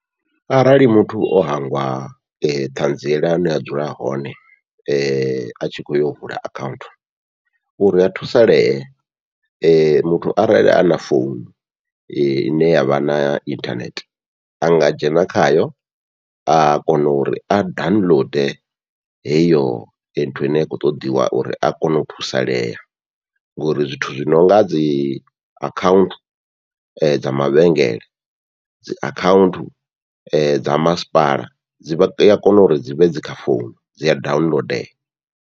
Arali muthu o hangwa ṱhanziela ya hune a dzula hone atshi kho yo vula akhaunthu, uri a thusalee muthu arali ana founu ine yavha na inthanethe anga dzhena khayo a kona uri a download heyo nthu ine ya kho ṱoḓiwa uri a kone u thusalea, ngori zwithu zwi nonga dzi akhaunthu dza mavhengele, dzi akhaunthu dza masipala dzi a kona uri dzivhe dzi kha founu dzi a download.